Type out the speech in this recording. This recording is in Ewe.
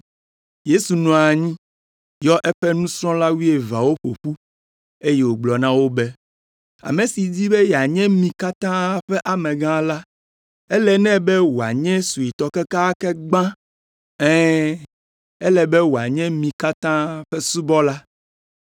Yesu nɔ anyi, yɔ eƒe nusrɔ̃la wuieveawo ƒo ƒu, eye wògblɔ na wo be, “Ame si di be yeanye mi katã ƒe amegã la, ele nɛ be wòanye suetɔ kekeake gbã, ɛ̃, ele be wòanye mi katã ƒe subɔla!”